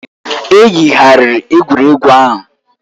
E yigharịrị egwuregwu ahụ.